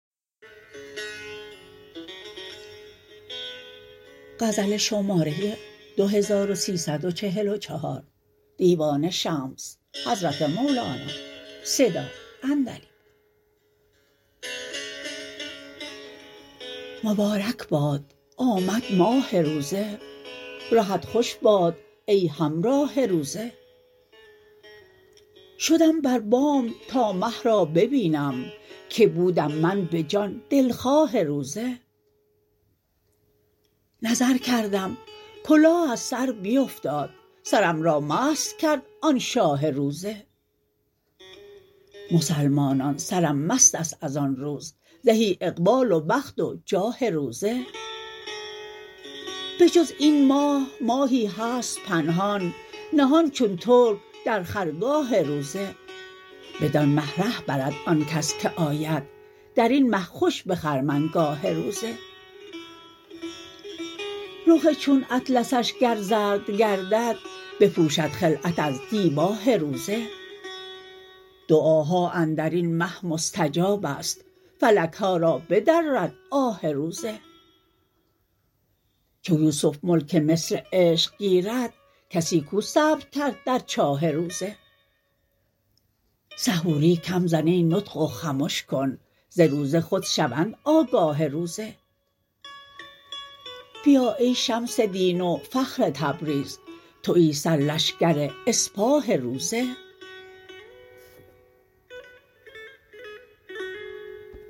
مبارک باد آمد ماه روزه رهت خوش باد ای همراه روزه شدم بر بام تا مه را ببینم که بودم من به جان دلخواه روزه نظر کردم کلاه از سر بیفتاد سرم را مست کرد آن شاه روزه مسلمانان سرم مست است از آن روز زهی اقبال و بخت و جاه روزه بجز این ماه ماهی هست پنهان نهان چون ترک در خرگاه روزه بدان مه ره برد آن کس که آید در این مه خوش به خرمنگاه روزه رخ چون اطلسش گر زرد گردد بپوشد خلعت از دیباه روزه دعاها اندر این مه مستجاب است فلک ها را بدرد آه روزه چو یوسف ملک مصر عشق گیرد کسی کو صبر کرد در چاه روزه سحوری کم زن ای نطق و خمش کن ز روزه خود شوند آگاه روزه بیا ای شمس دین و فخر تبریز توی سرلشکر اسپاه روزه